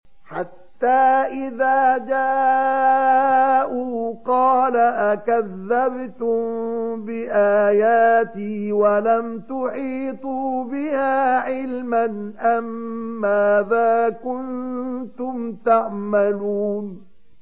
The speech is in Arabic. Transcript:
حَتَّىٰ إِذَا جَاءُوا قَالَ أَكَذَّبْتُم بِآيَاتِي وَلَمْ تُحِيطُوا بِهَا عِلْمًا أَمَّاذَا كُنتُمْ تَعْمَلُونَ